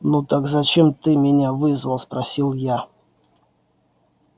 ну так зачем ты меня вызвал спросил я